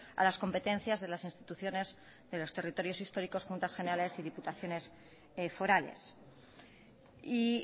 a las competencias de las instituciones de los territorios históricos juntas generales y diputaciones forales y